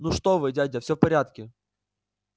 ну что вы дядя всё в порядке